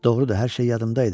Doğrudur, hər şey yadımda idi.